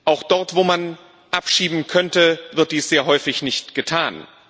auch dort, wo man abschieben könnte, wird dies sehr häufig nicht getan.